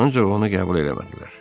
Ancaq onu qəbul eləmədilər.